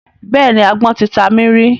Bẹ́ẹ̀ni, agbọ́n ti ta mí rí.